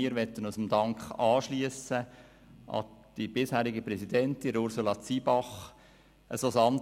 Wir möchten uns dem Dank an die bisherige Präsidentin Ursula Zybach anschliessen.